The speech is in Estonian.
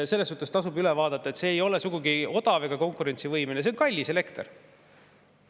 See tasub üle vaadata, see ei ole sugugi odav ega konkurentsivõimeline, vaid see on kallis elekter.